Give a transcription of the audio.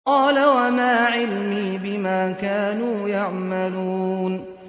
قَالَ وَمَا عِلْمِي بِمَا كَانُوا يَعْمَلُونَ